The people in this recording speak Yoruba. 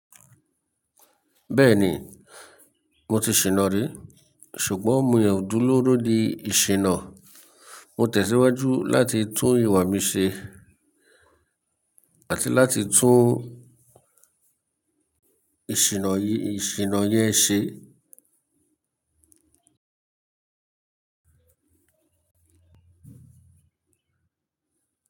Bẹ́ẹ̀ni, mo ti ṣìná rí, ṣùgbọ́n mo yóò dúró ní ìṣìnà. Mo tẹ̀síwájú láti tún ìwà mi ṣe àti láti tún ìṣìnà yìí, ìṣìnà yẹn ṣe.